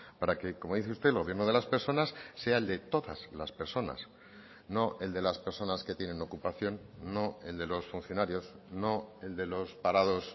para que como dice usted el gobierno de las personas sea el de todas las personas no el de las personas que tienen ocupación no el de los funcionarios no el de los parados